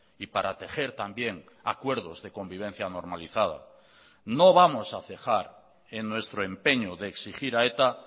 y para tejer también acuerdos de convivencia normalizada no vamos a cejar en nuestro empeño de exigir a eta